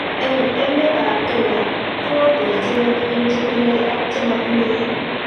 Eng emetab Kenya kooo terjinet eng chetinyei ak chematinyei